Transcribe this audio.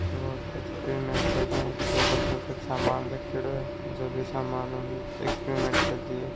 और एक्प्रिमेन्ट कर रहे हैं टेबल पे कुछ सामान रखयोड़ो हैं जो भी सामान है वो एक्प्रिमेन्ट कर रही हैं।